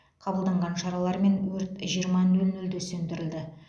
қабылданған шаралармен өрт жиырма нөл нөлде сөндірілді